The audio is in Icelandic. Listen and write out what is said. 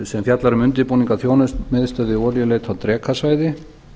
sem fjallar um undirbúning að þjónustumiðstöð við olíuleit á drekasvæði